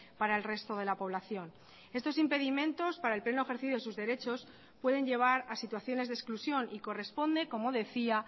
para el resto de la población estos impedimentos para el pleno ejercicio de sus derechos pueden llevar a situaciones de exclusión y corresponde como decía